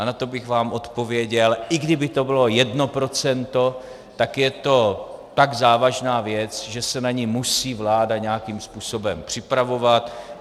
A na to bych vám odpověděl, i kdyby to bylo jedno procento, tak je to tak závažná věc, že se na ni musí vláda nějakým způsobem připravovat.